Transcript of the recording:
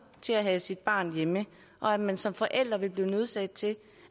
til at have sit barn hjemme og at man som forælder ville blive nødsaget til